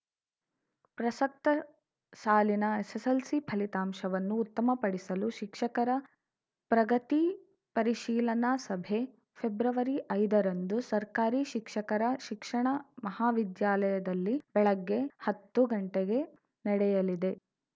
ಪ್ರಸಕ್ತ ಸಾಲಿನ ಎಸ್‌ಎಸ್‌ಎಲ್‌ಸಿ ಫಲಿತಾಂಶವನ್ನು ಉತ್ತಮ ಪಡಿಸಲು ಶಿಕ್ಷಕರ ಪ್ರಗತಿ ಪರಿಶೀಲನಾ ಸಭೆ ಫೆಬ್ರವರಿ ಐದ ರಂದು ಸರ್ಕಾರಿ ಶಿಕ್ಷಕರ ಶಿಕ್ಷಣ ಮಹಾವಿದ್ಯಾಲಯದಲ್ಲಿ ಬೆಳಗ್ಗೆ ಹತ್ತುಗಂಟೆಗೆ ನಡೆಯಲಿದೆ